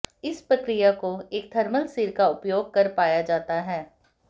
इस प्रक्रिया को एक थर्मल सिर का उपयोग कर पाया जाता है